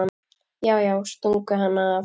Já, já, stungu hann af!